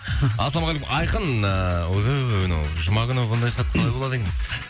ассалаумағалейкум айқын ойбай ойбай мынау жұма күні бұндай хат қалай болады екен